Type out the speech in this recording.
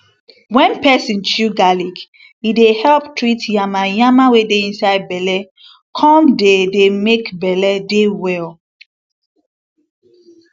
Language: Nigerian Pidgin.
wen peson chew garlic e dey help treat yanmayanma wey dey inside belle come dey dey make belle dey well